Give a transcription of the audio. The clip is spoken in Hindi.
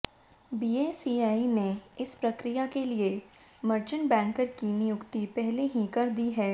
बीएसई ने इस प्रक्रिया के लिए मर्चेंट बैंकर की नियुक्ति पहले ही कर दी है